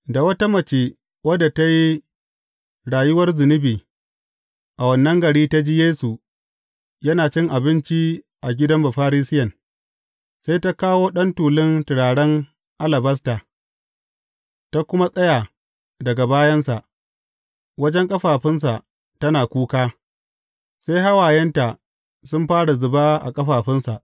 Da wata mace wadda ta yi rayuwar zunubi a wannan gari ta ji Yesu yana cin abinci a gidan Bafarisiyen, sai ta kawo ɗan tulun turaren alabasta, ta kuma tsaya daga bayansa, wajen ƙafafunsa tana kuka, sai hawayenta sun fara zuba a ƙafafunsa.